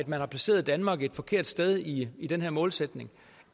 man har placeret danmark et forkert sted i den her målsætning